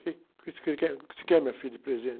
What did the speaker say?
Quê? O que você quer? O que você quer minha filha de presente?